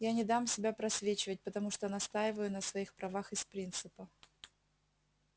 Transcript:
я не дам себя просвечивать потому что настаиваю на своих правах из принципа